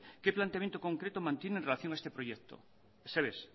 qué planteamiento concreto mantiene en relación a este proyecto ezer ere ez